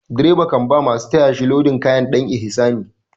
Direba kan ba masu taya shi lodin kaya ɗan ihsani.